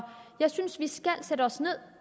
jeg synes vi skal sætte os ned